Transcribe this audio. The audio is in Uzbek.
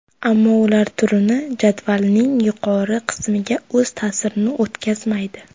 Ammo ular turnir jadvalining yuqori qismiga o‘z ta’sirini o‘tkazmaydi.